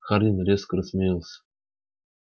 хардин резко рассмеялся